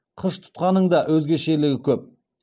қыш тұтқаның да өзгешелігі көп